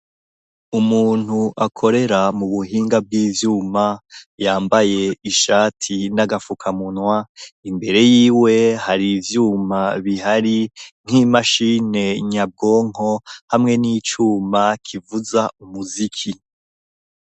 Umuntu akorera mu buhinga bw'ivyuma yambaye ishati n'agafukamunwa, imbere yiwe hari ivyuma bihari nk'imashini nyabwonko hamwe n'icuma kivuza umuziki.